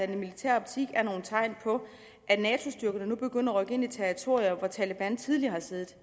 den militære optik er nogle tegn på at nato styrkerne nu begynder at rykke ind i territorier hvor taleban tidligere har siddet